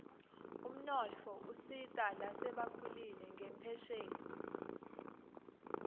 umnotfo usita lasebakhulile ngenphesheni